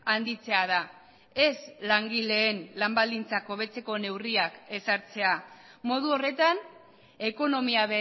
handitzea da ez langileen lan baldintzak hobetzeko neurriak ezartzea modu horretan ekonomia